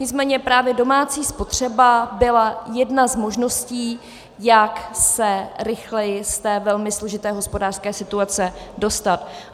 Nicméně právě domácí spotřeba byla jedna z možností, jak se rychleji z té velmi složité hospodářské situace dostat.